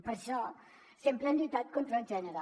per això sempre hem lluitat contra el gènere